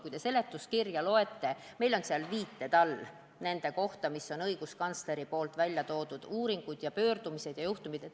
Kui te seletuskirja loete, siis näete, et meil on seal viited õiguskantsleri väljatoodud uuringutele, pöördumistele ja juhtumitele.